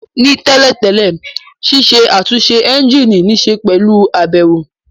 Ní tẹ́lẹ̀ tẹ́lẹ̀, ṣiṣẹ́ àtúnṣe ẹ́ńjìnì níṣe pẹ̀lú àbẹ̀wò